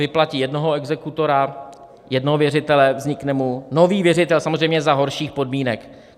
Vyplatí jednoho exekutora, jednoho věřitele, vznikne mu nový věřitel, samozřejmě za horších podmínek.